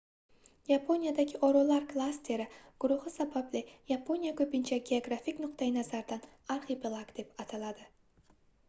yaponiyadagi orollar klasteri/guruhi sababli yaponiya ko'pincha geografik nuqtayi nazardan arxipelag deb ataladi